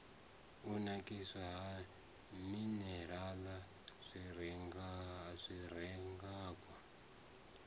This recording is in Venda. u nakiswa ha minirala zwirengwa